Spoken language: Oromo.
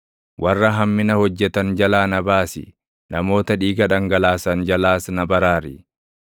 Warra hammina hojjetan jalaa na baasi; namoota dhiiga dhangalaasan jalaas na baraari.